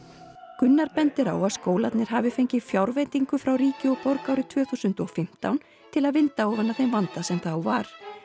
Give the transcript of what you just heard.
Gunnar bendir á að skólarnir hafi fengið fjárveitingu frá ríki og borg árið tvö þúsund og fimmtán til að vinda ofan af vanda sem þá var